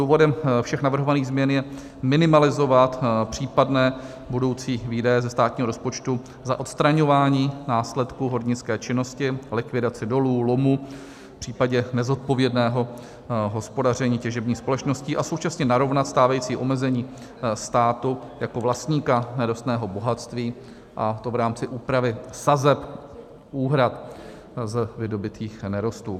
Důvodem všech navrhovaných změn je minimalizovat případné budoucí výdaje ze státního rozpočtu za odstraňování následků hornické činnosti, likvidaci dolů, lomů v případě nezodpovědného hospodaření těžebních společností a současně narovnat stávající omezení státu jako vlastníka nerostného bohatství, a to v rámci úpravy sazeb úhrad z vydobytých nerostů.